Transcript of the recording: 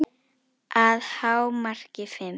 Að hámarki fimm.